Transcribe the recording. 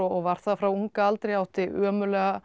var það frá unga aldri átti ömurlega